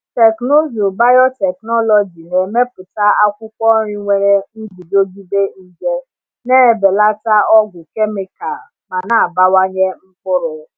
Teknụzụ biotechnology na-emepụta akwụkwọ nri nwere nguzogide nje, na-ebelata ọgwụ kemikal ma na-abawanye mkpụrụ.